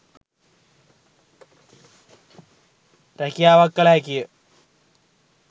රැකියාවක් කළ හැකිය